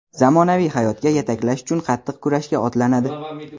zamonaviy hayotga yetaklash uchun qattiq kurashga otlanadi.